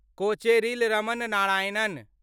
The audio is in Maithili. कोचेरिल रमण नारायणन